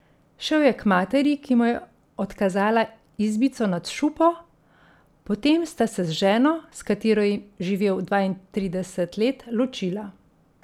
Šel je k materi, ki mu je odkazala izbico nad šupo, potem sta se z ženo, s katero je živel dvaintrideset let, ločila.